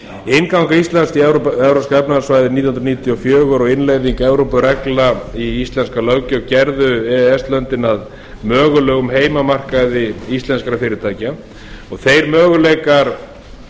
innganga ísland í evrópska efnahagssvæðið nítján hundruð níutíu og fjögur og innleiðing evrópureglna í íslenska löggjöf gerðu e e s löndin að mögulegum heimamarkaði íslenskra fyrirtækja og þeir möguleikar